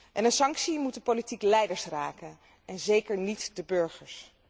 En een sanctie moet de politieke leiders raken en zeker niet de burgers.